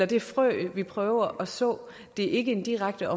det frø vi prøver at så det er ikke en direkte